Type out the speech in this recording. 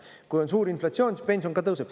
Kui on suur inflatsioon, siis pension ka tõuseb.